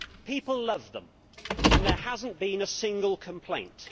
People love them and there has not been a single complaint.